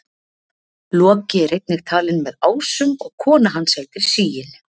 loki er einnig talinn með ásum og kona hans heitir sigyn